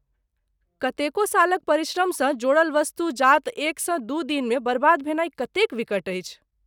कतेको सालक परिश्रमसँ जोड़ल वस्तु जात एकसँ दू दिनमे बर्बाद भेनाइ कतेक विकट अछि।